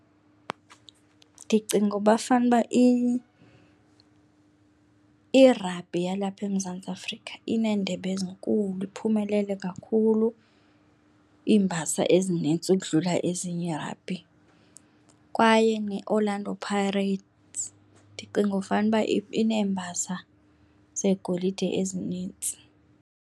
Ndicinga uba fanuba i-rugby yalapha eMzantsi Afrika ineendebe ezinkulu, iphumelele kakhulu iimbasa ezinintsi ukudlula ezinye ii-rugby kwaye neOrlando Piates ndicinga fanuba ineembasa zegolide ezinintsi.